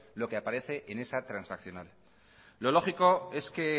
lo que aparece en esa transaccional lo lógico es que